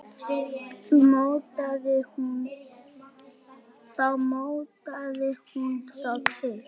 Þá mótaði hún þá til.